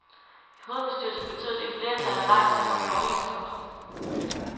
I hovedbestyrelsen betød det et flertal af nejstemmer til overenskomsten.